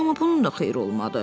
Amma bunun da xeyri olmadı.